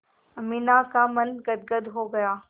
अमीना का मन गदगद हो गया